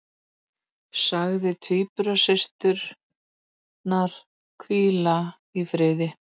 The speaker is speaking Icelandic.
Sagði tvíburasysturnar hvíla í friði